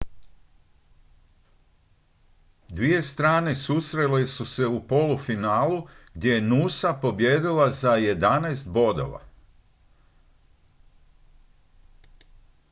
dvije strane susrele su se u polufinalu gdje je noosa pobijedila za 11 bodova